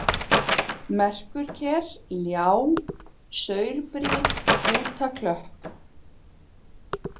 Merkurker, Ljá, Saurbrýr, Hrútaklöpp